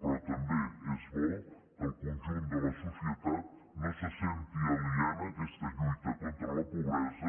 però també és bo que el conjunt de la societat no se senti aliena a aquesta lluita contra la pobresa